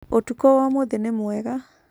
ũtukũ wa ũmũthĩ nĩ mwega.